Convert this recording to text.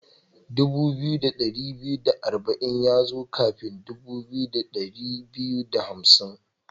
Dubu biyu da dari biyu da arba'in ya zo kafin dubu biyu da dari biyu da hamsin.